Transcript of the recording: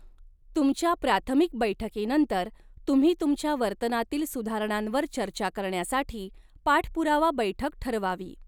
तुमच्या प्राथमिक बैठकीनंतर, तुम्ही तुमच्या वर्तनातील सुधारणांवर चर्चा करण्यासाठी पाठपुरावा बैठक ठरवावी.